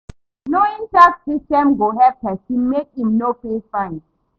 Knowing tax systems go help pesin mek im no pay fine.